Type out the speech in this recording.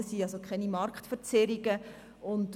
Es darf also keine Marktverzerrungen geben.